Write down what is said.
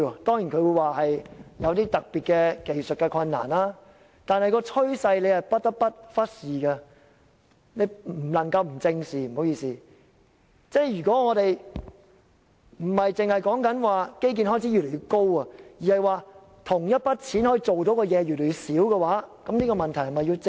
當然，他們說有特別的技術困難，但司長不得不正視這趨勢，不單基建開支越來越高，而同一筆款項可以做的事越來越少，這問題是否要正視？